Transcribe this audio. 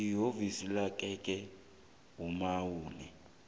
iofisi yangekhenu nakube